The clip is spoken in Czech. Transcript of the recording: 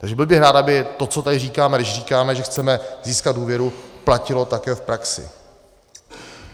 Takže byl bych rád, aby to, co tady říkáme, když říkáme, že chceme získat důvěru, platilo také v praxi.